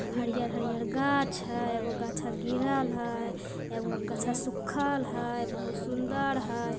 हरियल हरियल घांच हैं ए गो गाछा गिरल हैं ए गो घांचा सुखल हैं बोहोत सुन्दर हैं ।